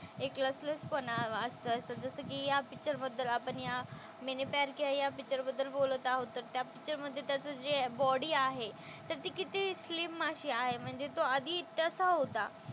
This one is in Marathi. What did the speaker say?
एक पण असायचा जसं कि या पिक्चर बद्दल आपण या मैंने प्यार किया या पिक्चर बद्दल बोलत आहोत तर त्या पिक्चर मधे त्याचं जे बॉडी आहे तर ती किती स्लिम अशी आहे म्हणजे तो आधी तसा होता.